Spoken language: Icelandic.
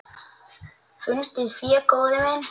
Fundið fé, góði minn.